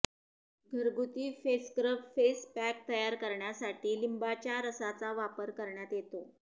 घरगुती face scrub face pack तयार करण्यासाठी लिंबाच्या रसाचा वापर करण्यात येतो